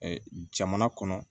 jamana kɔnɔ